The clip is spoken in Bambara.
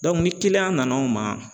ni kiliyan nan'anw ma